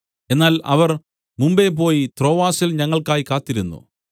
എന്നാൽ അവർ മുമ്പെ പോയി ത്രോവാസിൽ ഞങ്ങൾക്കായി കാത്തിരുന്നു